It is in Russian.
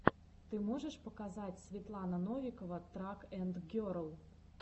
ты можешь показать светлана новикова трак энд герл